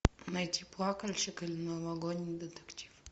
найти плакальщик или новогодний детектив